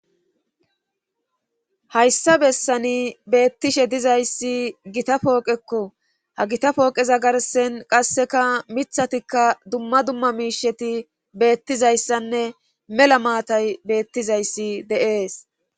hayssa bessani beettishe dizayssi gita pooqekko;ha gita pooqeza garssen qasseka mittatikka dumma dumma miisheti beettizayssanne mela maatay beettizayssi de7ees.